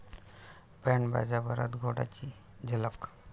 band बाजा वरात घोडा...'ची झलक